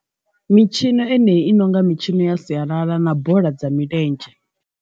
Mitshino eneyi i nonga mitshino ya sialala na bola dza milenzhe.